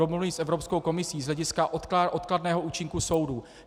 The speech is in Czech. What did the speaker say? Domluvy s Evropskou komisí z hlediska odkladného účinku soudů.